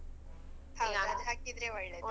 ಹೌದ್ ಅದ್ ಹಾಕಿದ್ರೆ ಒಳ್ಳೆದ್.